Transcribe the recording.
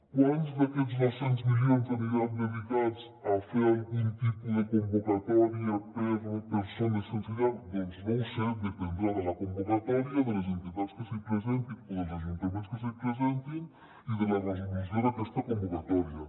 quants d’aquests dos cents milions aniran dedicats a fer algun tipus de convocatòria per a persones sense llar doncs no ho sé dependrà de la convocatòria de les entitats que s’hi presentin o dels ajuntaments que s’hi presentin i de la resolució d’aquesta convocatòria